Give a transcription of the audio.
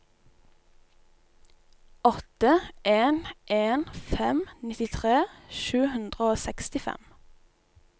åtte en en fem nittitre sju hundre og sekstifem